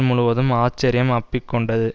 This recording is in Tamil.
முழுவதும் ஆச்சர்யம் அப்பிக்கொண்டது